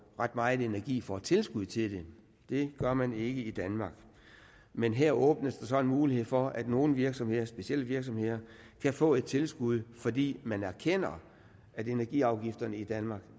ret meget energi får tilskud til det det gør man ikke i danmark men her åbnes der så en mulighed for at nogle virksomheder specielle virksomheder kan få et tilskud fordi man erkender at energiafgifterne i danmark